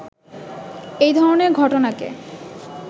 এই ধরনের ঘটনাকে